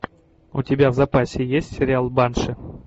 у тебя в запасе есть сериал банши